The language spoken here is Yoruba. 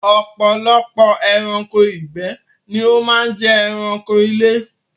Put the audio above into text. Ọ̀pọ̀lọpọ̀ ẹranko ìgbẹ́ ni ó máa ń jẹ ẹranko ilé.